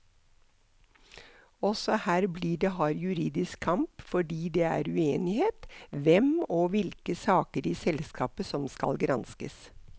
Også her blir det hard juridisk kamp fordi det er uenighet hvem og hvilke saker i selskapet som skal granskes.